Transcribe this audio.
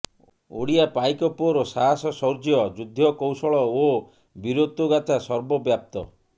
ଓଡ଼ିଆ ପାଇକ ପୁଅର ସାହାସ ଶୌର୍ଯ୍ୟ ଯୁଦ୍ଧକୌଶଳ ଓ ବୀରତ୍ୱ ଗାଥା ସର୍ବବ୍ୟାପ୍ତ